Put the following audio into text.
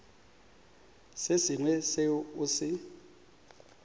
se sengwe seo o se